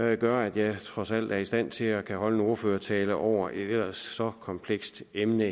det gør at jeg trods alt er i stand til at holde en ordførertale over et eller så komplekst emne